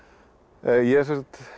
ég sem sagt